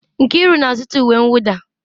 Nkiru na-azụta uwe mwụda.